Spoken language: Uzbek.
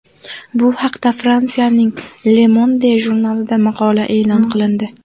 Bu haqda Fransiyaning Le Monde jurnalida maqola e’lon qilindi .